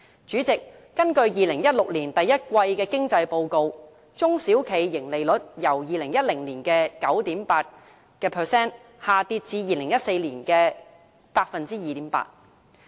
主席，根據2016年第一季經濟報告，中小企盈利率由2010年的 9.8% 下跌至2014年 2.8%。